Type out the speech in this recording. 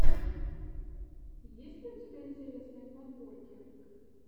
есть ли у тебя интересные подборки